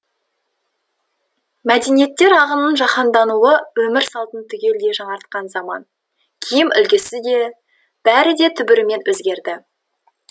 мәдениеттер ағынының жаһандануы өмір салтын түгелдей жаңартқан заман киім үлгісі де бәрі де түбірімен өзгерді